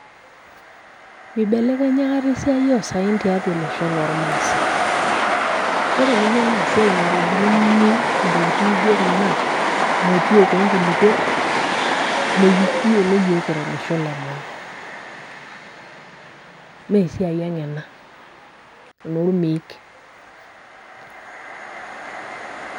Mibelekenya akata esiai osaen tiatua olosho lormasai. Ore ninye enasiai naitobiruni intokiting naijo kuna, motiok enkulukuon, mekiyiolo yiok kira olosho le maa. Mesiai ang ena. Enormeek.